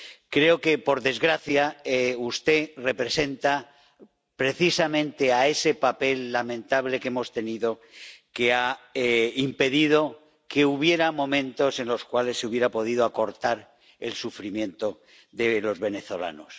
Creo que, por desgracia, usted representa precisamente ese papel lamentable que hemos tenido, que ha impedido que hubiera momentos en los cuales se hubiera podido acortar el sufrimiento de los venezolanos.